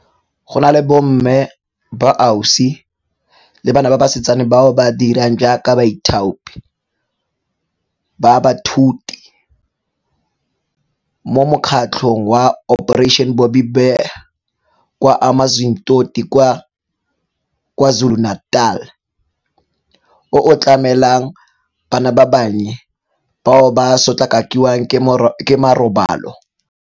Go na le bomme, boausi le bana ba basetsana bao ba dirang jaaka baithaopi ba baithuti mo mo kgatlhong wa Operation Bobbi Bear, kwa Amanzimtoti kwa KwaZulu-Natal o o tlamelang bana ba bannye bao ba sotlakakilweng ka marobalo.